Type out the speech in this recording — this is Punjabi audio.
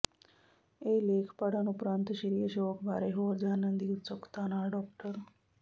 ਇਹ ਲੇਖ ਪੜ੍ਹਨ ਉਪਰੰਤ ਸ੍ਰੀ ਅਸ਼ੋਕ ਬਾਰੇ ਹੋਰ ਜਾਣਨ ਦੀ ਉਤਸੁਕਤਾ ਨਾਲ ਡਾ